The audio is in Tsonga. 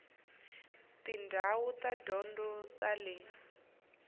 tindhawu ta tidyondzo ta le